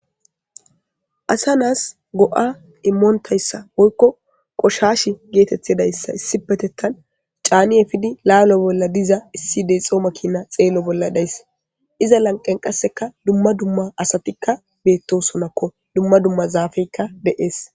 Asa naas go'a immoontayssa woykko qoshash geetetedayssa issi petettan caaniye efidi laalo bolla diza issi deexoo makina xeelo bolla dayss iza lanqen qasseka dumma dumma asatikka beettosonakko dumma dumma zaafeykka deees.